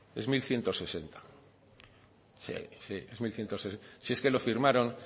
es mil ciento sesenta sí es mil ciento sesenta si es que lo firmaron